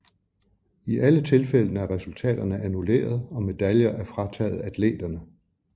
I alle tilfældene er resultaterne annulleret og medaljer er frataget atleterne